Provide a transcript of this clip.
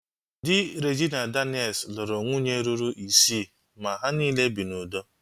Dị Regina Daniel's lụrụ nwunye ruru isii ma ha niile bi n'udo